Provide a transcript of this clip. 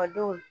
A don